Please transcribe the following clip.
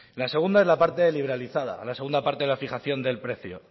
la segunda es la parte liberalizada la segunda parte de la fijación del precio